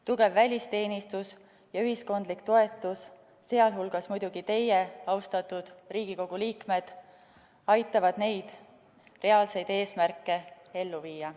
Tugev välisteenistus ja ühiskondlik toetus, sh muidugi teie abi, austatud Riigikogu liikmed, aitavad neid reaalseid eesmärke ellu viia.